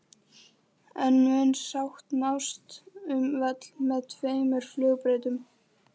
En mun sátt nást um völl með tveimur flugbrautum?